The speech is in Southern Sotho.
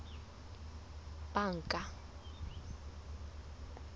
banka